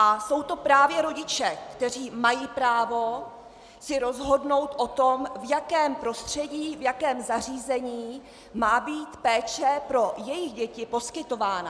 A jsou to právě rodiče, kteří mají právo si rozhodnout o tom, v jakém prostředí, v jakém zařízení má být péče pro jejich děti poskytována.